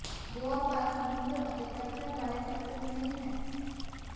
ਗੋਆ ਭਾਰਤ ਸਮੁੰਦਰ ਅਤੇ ਚਰਚਾਂ ਬਾਰੇ ਸਭ ਕੁਝ ਨਹੀਂ ਹੈ